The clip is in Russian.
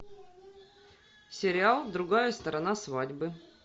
сериал другая сторона свадьбы